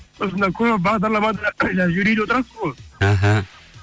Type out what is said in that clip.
сосын мына көп бағдарламада жаңа жюриде отырасыз ғой іхі